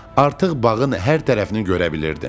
Artıq bağın hər tərəfini görə bilirdim.